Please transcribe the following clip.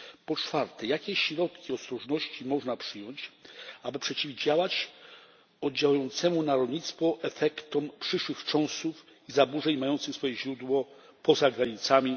Po czwarte jakie środki ostrożności można przyjąć, aby przeciwdziałać oddziałującym na rolnictwo efektom przyszłych wstrząsów i zaburzeń mających swoje źródło poza granicami?